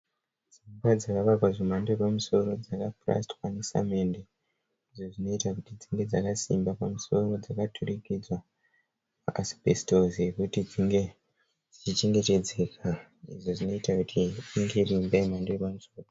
Dzimba dzakavakwa dzemhando yapamusoro dzakapurasitwa nesamende. Izvo zvinoita kuti dzinge dzakasimba. Pamusoro dzakaturikidzwa maasibhesitosi ekuti dzinge dzichichengetedzeka. Izvi zvinoita kuti inge iri imba yemhando yepamusoro.